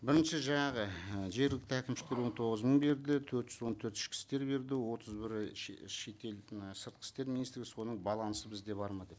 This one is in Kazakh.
бірінші жаңағы ы жергілікті әкімшілік он тоғыз мың берді төрт жүз он төрт ішкі істер беді отыз бірі шетел і сыртқы істер министрі соның балансы бізде бар ма деп